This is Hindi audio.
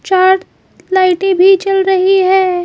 चार लाइटें भी चल रही है।